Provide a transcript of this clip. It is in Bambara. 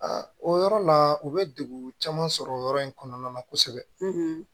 o yɔrɔ la u bɛ degu caman sɔrɔ yɔrɔ in kɔnɔna na kosɛbɛ